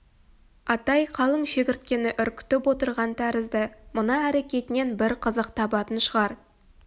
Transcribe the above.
атай қалың шегірткені үркітіп отырған тәрізді мына әрекетінен бір қызық табатын шығар